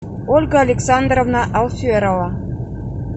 ольга александровна алферова